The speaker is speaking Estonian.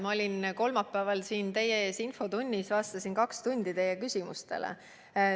Ma olin kolmapäeval siin teie ees infotunnis, vastasin kaks tundi teie küsimustele.